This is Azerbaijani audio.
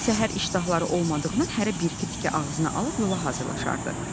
Səhər iştahları olmadığından hərə bir-iki tikə ağzına alıb yola hazırlaşardı.